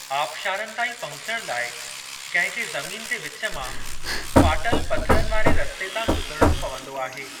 आबिशारनि ताईं पहुचण लाइ कंहिं खे ज़मीन जे विचु मां, फाटल पथरनि वारे रस्ते तां गुज़रणो पंवदो आहे।